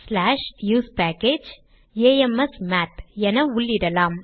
usepackageamsmath என உள்ளிடலாம்